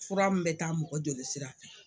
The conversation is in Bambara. Fura min bɛ taa mɔgɔ jolisira fɛ